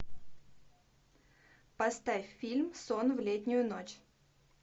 поставь фильм сон в летнюю ночь